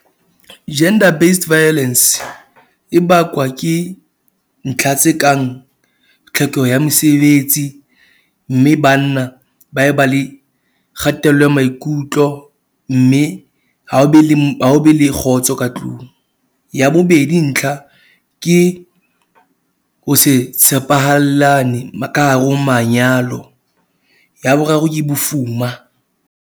Gender based violence e bakwa ke ntlha tse kang tlhokeho ya mesebetsi, mme banna ba e ba le kgatello ya maikutlo. Mme ha ho be le ha ho be le kgotso ka tlung. Ya bobedi ntlha ke ho se tshepahallane ka hare ho manyalo ya boraro ke bofuma.